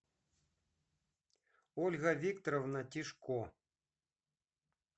ольга викторовна тишко